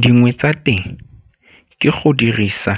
Dingwe tsa teng ke go dirisa